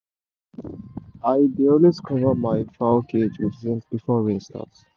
i dey always cover my fowl cage with zinc before rain start